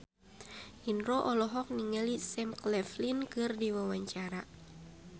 Indro olohok ningali Sam Claflin keur diwawancara